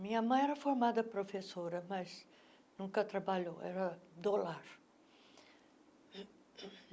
Minha mãe era formada professora, mas nunca trabalhou, era do lar.